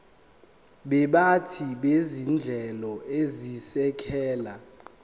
baphathi bezinhlelo ezisekela